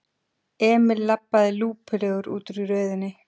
Emil labbaði lúpulegur útúr röðinni.